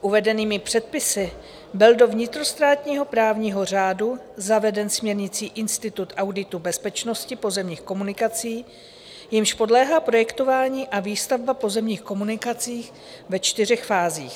Uvedenými předpisy byl do vnitrostátního právního řádu zaveden směrnicí institut auditu bezpečnosti pozemních komunikací, jemuž podléhá projektování a výstavba pozemních komunikací ve čtyřech fázích.